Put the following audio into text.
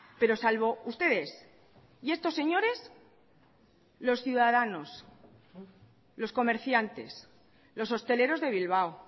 pero salvo ustedes y estos señores los ciudadanos los comerciantes los hosteleros de bilbao